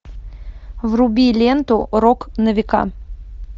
вруби ленту рок на века